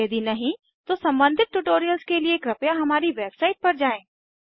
यदि नहीं तो सम्बंधित ट्यूटोरियल्स के लिए कृपया हमारी वेबसाइट पर जाएँ